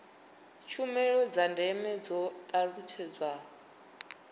tshumelo dza ndeme dzo talutshedzwa